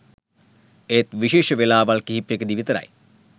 එත් විශේෂ වෙලාවල් කීපයකදී විතරයි